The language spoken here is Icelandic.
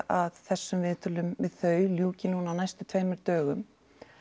að þessum viðtölum við þau ljúki núna á næstu tveimur dögum